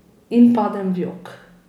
In padem v jok.